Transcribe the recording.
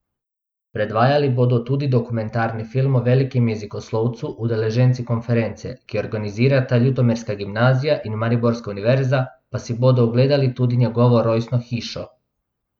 Predvajali bodo tudi dokumentarni film o velikem jezikoslovcu, udeleženci konference, ki jo organizirata ljutomerska gimnazija in mariborska univerza, pa si bodo ogledali tudi njegovo rojstno hišo.